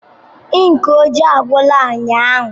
Ink ojii agwụla ụnyaahụ.